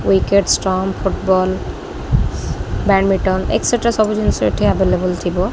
Wicket stump football badminton ଏଟକ୍ ସବୁ ଜିନିଷ ଅଭାଇଲାବେ ଥିବା।